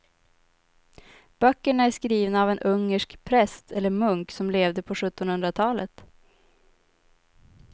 Böckerna är skrivna av en ungersk präst eller munk som levde på sjuttonhundratalet.